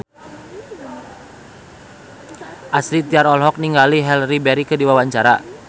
Astrid Tiar olohok ningali Halle Berry keur diwawancara